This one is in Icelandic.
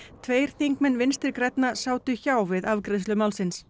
tveir þingmenn Vinstri grænna sátu hjá við afgreiðslu málsins